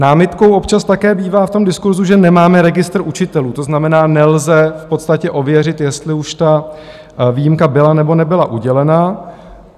Námitkou občas také bývá v tom diskurzu, že nemáme registr učitelů, to znamená, nelze v podstatě ověřit, jestli už ta výjimka byla nebo nebyla udělena.